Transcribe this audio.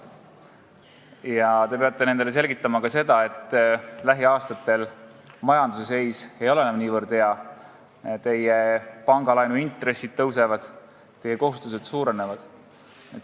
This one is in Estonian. Ja te peate neile selgitama ka seda, et lähiaastatel majanduse seis ei ole enam nii hea, teie pangalaenu intressid kasvavad, teie kohustused suurenevad.